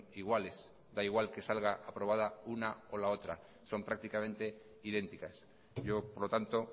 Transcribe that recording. iguales da igual que salga aprobada una o la otra son prácticamente idénticas yo por lo tanto